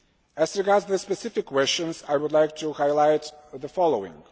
As regards the specific questions I would like to highlight the following.